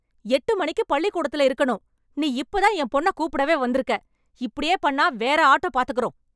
எட்டு மணிக்கு பள்ளிகூடத்தல இருக்கனும், நீ இப்ப தான் என் பொண்ண கூப்பிடவே வந்துருக்க. இப்படியே பண்ணா வேற ஆட்டோ பாத்துக்குறோம்.